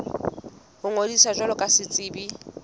ho ngodisa jwalo ka setsebi